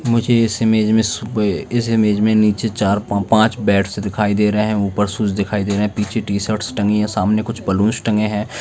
मुझे इस इमेज में इस इमेज में नीचे चार पांच बेड्स दिखाई दे रहे हैं ऊपर शूज दिखाई दे रहे हैं पीछे टी-शर्ट्स लटकी हुई हैं और सामने कुछ बैलून्स टंगे हैं।